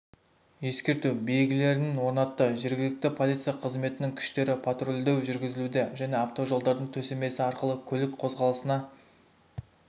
ескерту белгілерін орнатты жергілікті полиция қызметінің күштері патрульдеу жүргізілуде және автожолдардың төсемесі арқылы көлік қозғалысына